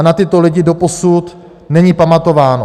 A na tyto lidi doposud není pamatováno.